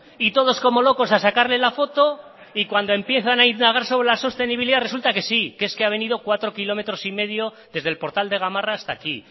y todos como locos a sacarle la foto y cuando empiezan a indagar sobre la sostenibilidad resulta que sí que es que sí que ha venido cuatro kilómetros y medio desde el portal de gamarra hasta aquí